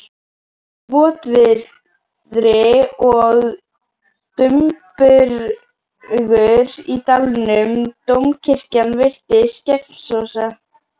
Votviðri var og dumbungur í dalnum, dómkirkjan virtist gegnsósa.